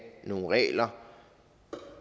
nogle regler